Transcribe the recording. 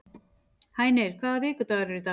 Hænir, hvaða vikudagur er í dag?